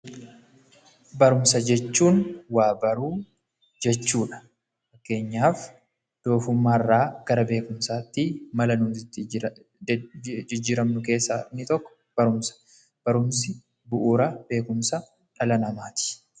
Barumsa jechuun waa baruu jechuudha. Fakkeenyaaf doofummaarraa gara beekumsaatti mala jijjiiramnu keessaa inni tokko barumsa. Barumsi bu'uura beekumsa dhala namaati.